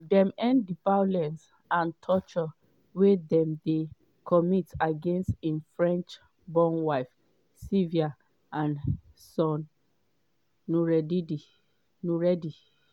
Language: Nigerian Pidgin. dem end di "violence and torture" wey dem dey commit against im french-born wife sylvia and son noureddi.